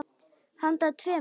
Handa tveimur